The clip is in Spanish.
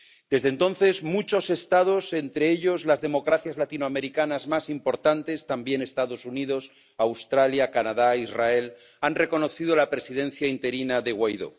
Desde entonces, muchos Estados, entre ellos las democracias latinoamericanas más importantes, también los Estados Unidos, Australia, Canadá, Israel, han reconocido la presidencia interina de Guaidó.